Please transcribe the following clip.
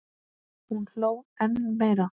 Hún hló enn meira.